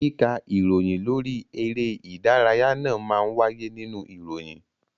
Kíka ìròyìn lórí eré ìdárayá náà má ń wáyé nínú ìròyìn